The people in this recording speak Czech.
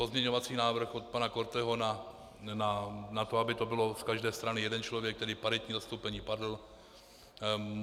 Pozměňovací návrh od pana Korteho na to, aby to bylo z každé strany jeden člověk, tedy paritní zastoupení, padl.